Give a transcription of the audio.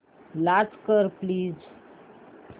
launch कर please